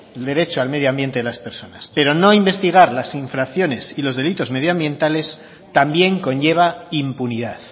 el derecho al medioambiente de las personas pero no investigar las infracciones y los delitos medioambientales también conlleva impunidad